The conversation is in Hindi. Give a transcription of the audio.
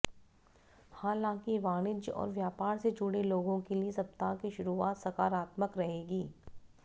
हालांकि वाणिज्य और व्यापार से जुड़े लोगों के लिए सप्ताह की शुरुआत सकारात्मक रहेगी